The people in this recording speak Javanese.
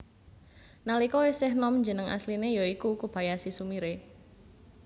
Nalika isih nom jeneng asline ya iku Kobayashi Sumire